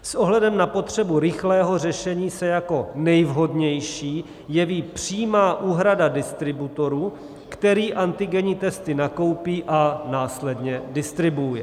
S ohledem na potřebu rychlého řešení se jako nejvhodnější jeví přímá úhrada distributorovi, který antigenní testy nakoupí a následně distribuuje.